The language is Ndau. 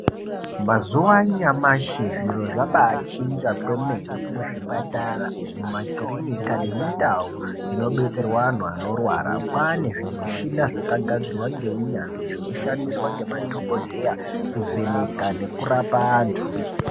Mazuva anyamashi zviro zvabai chinja kwemene mu zvipatara mu makirinika nemu ndau dzino betserwe anhu anorwara kwane zvi mushina zvaka gadzirwa nge unyanzvi zvino shandiswa nge madhokodheya ku vheneka neku rapa antu.